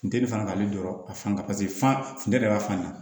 Funteni fana b'ale dɔrɔn a fan kan paseke fantan yɛrɛ b'a fanɲa